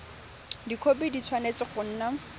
dikhopi di tshwanetse go nna